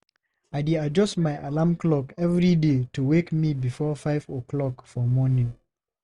I dey adjust my alarm clock every day to wake me before 5 o'clock for morning.